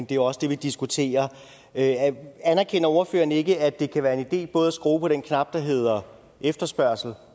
jo også det vi diskuterer anerkender ordføreren ikke at det kan være en idé både at skrue på den knap der hedder efterspørgsel